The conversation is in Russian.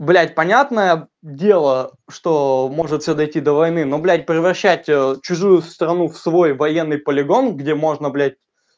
блять понятное дело что может всё дойти до войны но блядь превращать чужую страну в свой военный полигон где можно блять